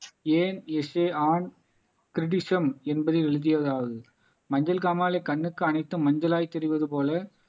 என்பதை எழுதியதால் மஞ்சள் காமாலை கண்ணுக்கு அனைத்தும் மஞ்சளாய் தெரிவது போல